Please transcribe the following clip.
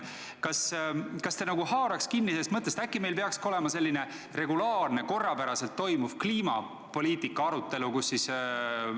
Kas te nagu haaraks kinni sellest mõttest, et äkki meil peaks olema regulaarne, korrapäraselt toimuv kliimapoliitika arutelu?